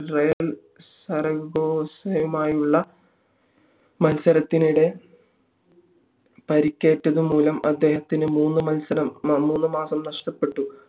Real സര്ഗോസുമായുള്ള മത്സരത്തിനിട പരിക്കേറ്റതു മൂലം അദ്ദേഹത്തിന് മൂന്ന് മാസം നഷ്ടപ്പെട്ടു